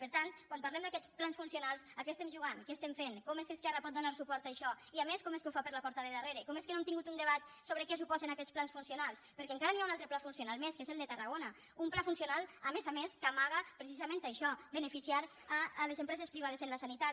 per tant quan parlem d’aquests plans funcionals a què estem jugant què estem fent com és que esquerra pot donar suport a això i a més com és que ho fa per la porta de darrere com és que no hem tingut un debat sobre què suposen aquests plans funcionals perquè encara hi ha un altre pla funcional més que és el de tarragona un pla funcional a més a més que amaga precisament això beneficiar les empreses priva des en la sanitat